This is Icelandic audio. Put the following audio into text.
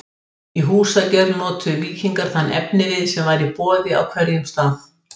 Í húsagerð notuðu víkingar þann efnivið sem var í boði á hverjum stað.